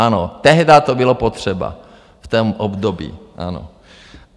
Ano, tehdy to bylo potřeba v tom období, ano.